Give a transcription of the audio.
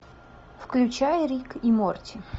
включай рик и морти